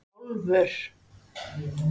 Álfur